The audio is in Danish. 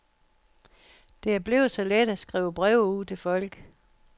Det er blevet så let at skrive breve ud til folk.